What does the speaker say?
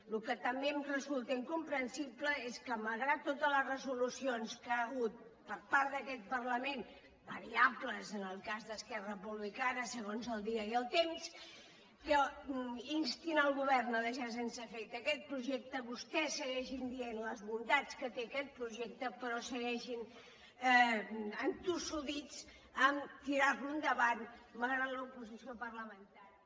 el que també em resulta incomprensible és que malgrat totes les resolucions que hi ha hagut per part d’aquest parlament variables en el cas d’esquerra republicana segons el dia i el temps que insten el govern a deixar sense efecte aquest projecte vostès segueixin dient les bondats que té aquest projecte però segueixin entossudits a tirar lo endavant malgrat l’oposició parlamentària